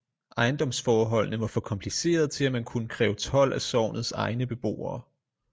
Ejendomsforholdene var for komplicerede til at man kunne kræve told af sognets egne beboere